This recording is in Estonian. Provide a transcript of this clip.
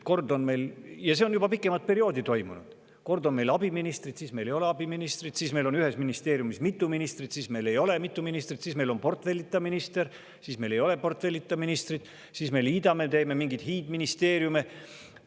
Ja see on juba pikemat aega nii toimunud – kord on meil abiministrid, siis meil ei ole abiministreid, siis meil on ühes ministeeriumis mitu ministrit, siis meil ei ole mitut ministrit, siis meil on portfellita minister, siis meil ei ole portfellita ministrit, siis me liidame ministeeriume kokku ja teeme mingeid hiidministeeriume.